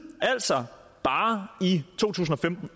altså bare i to tusind og femten